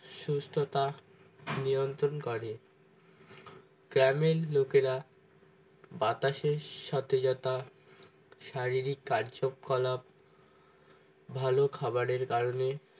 সুস্থতা নিয়ন্ত্রণ করে গ্রামের লোকেরা বাতাসের সতেজতা শারীরিক কার্যকলাপ ভালো খাবারের কারণে